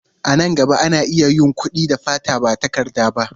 A nan gaba, ana iya yin kuɗi da fata ba takarda ba.